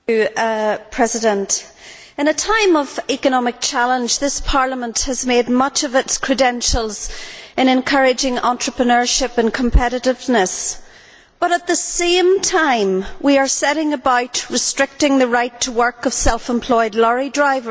Madam President, in a time of economic challenge, this Parliament has made much of its credentials in encouraging entrepreneurship and competitiveness but, at the same time, we are setting about restricting the right to work of self employed lorry drivers.